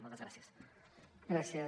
moltes gràcies